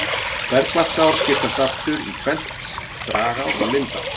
Bergvatnsár skiptast aftur í tvennt, dragár og lindár.